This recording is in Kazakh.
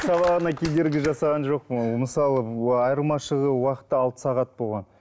сабағына кедергі жасаған жоқпын ғой ол мысалы айырмашылығы уақытта алты сағат болған